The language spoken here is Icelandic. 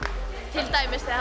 til dæmis þegar